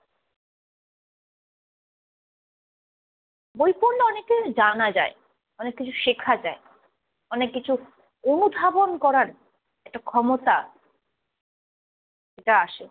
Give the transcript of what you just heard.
বই পড়লে অনেক কিছু জানা যায়। অনেক কিছু শেখা যায়। অনেক কিছু অনুধাবন করার একটা ক্ষমতা, এটা আসে।